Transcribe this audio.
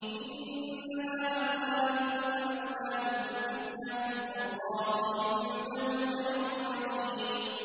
إِنَّمَا أَمْوَالُكُمْ وَأَوْلَادُكُمْ فِتْنَةٌ ۚ وَاللَّهُ عِندَهُ أَجْرٌ عَظِيمٌ